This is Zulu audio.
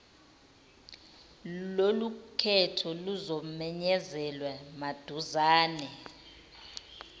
lolukhetho luzomenyezelwa maduzane